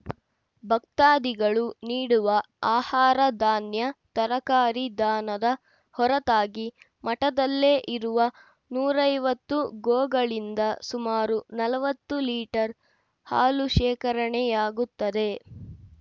ಭಕ್ತಾದಿಗಳು ನೀಡುವ ಆಹಾರ ಧಾನ್ಯ ತರಕಾರಿ ದಾನದ ಹೊರತಾಗಿ ಮಠದಲ್ಲೇ ಇರುವ ನೂರ ಐವತ್ತು ಗೋಗಳಿಂದ ಸುಮಾರು ನಲವತ್ತು ಲೀಟರ್‌ ಹಾಲು ಶೇಖರಣೆಯಾಗುತ್ತದೆ